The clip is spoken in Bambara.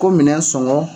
Ko minɛn songɔ